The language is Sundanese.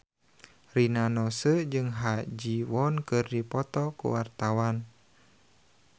Rina Nose jeung Ha Ji Won keur dipoto ku wartawan